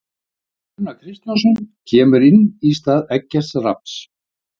Gunnar Kristjánsson kemur inn í stað Eggerts Rafns.